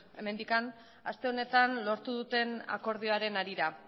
hemendik aste honetan lortu duten akordioaren harira